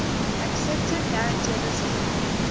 accepted marangella's claim